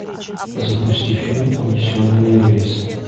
запусти фильм унесенные рейсом